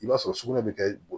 I b'a sɔrɔ sugunɛ bɛ kɛ bɔrɔ